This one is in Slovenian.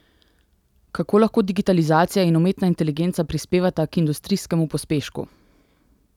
Kako lahko digitalizacija in umetna inteligenca prispevata k industrijskemu pospešku?